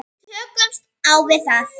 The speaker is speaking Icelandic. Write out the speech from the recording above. Tökumst á við það.